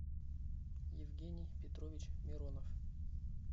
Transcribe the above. евгений петрович миронов